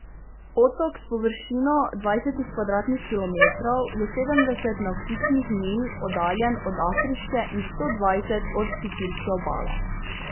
Otok s površino dvajsetih kvadratnih kilometrov je sedemdeset navtičnih milj oddaljen od afriške in sto dvajset od sicilske obale.